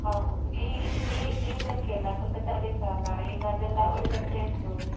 ಹೌದು ಈ ಇಲ್ಲಿ ಈ ಇದಕ್ಕೆ ಎಲ್ಲ ಸ್ವಲ್ಪ ಚಳಿಸ ಅಲ್ಲ ಈಗ ಅದೆಲ್ಲ ಒಳ್ಳೆ place ಹೋಗ್ಲಿಕ್ಕೆ.